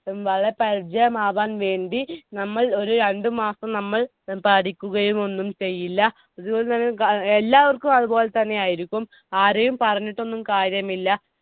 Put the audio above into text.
വളരെ പരിചയമാവാൻ വേണ്ടി നമ്മൾ ഒരു രണ്ടു മാസം നമ്മൾ പഠിക്കുകയൊന്നും ചെയ്യില്ല. എല്ലാവർക്കും അതുപോലെതന്നെയായിരിക്കും. ആരെയും പറഞ്ഞിട്ടൊന്നും കാര്യമില്ല.